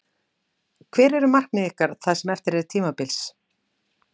Hver eru markmið ykkar það sem eftir er tímabils?